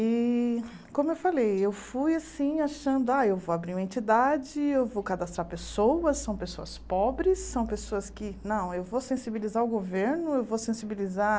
E, como eu falei, eu fui achando ah eu vou abrir uma entidade, eu vou cadastrar pessoas, são pessoas pobres, são pessoas que... Não, eu vou sensibilizar o governo, eu vou sensibilizar...